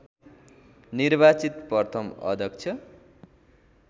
निर्वाचित प्रथम अध्यक्ष